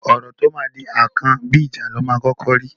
Ọ̀rọ̀ tó máa di akàn, bí ẹja ni í kọ́kọ́ máa ńrí.